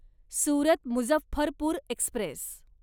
Surat Muzaffarpur Express